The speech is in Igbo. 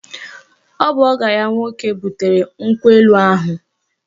Ọ bụ ọgọ ya nwoke butere nkwụ elu ahụ